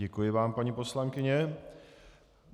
Děkuji vám, paní poslankyně.